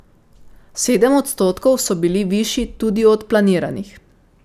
Sedem odstotkov so bili višji tudi od planiranih.